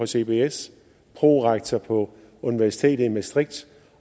cbs prorektor på universitetet i maastricht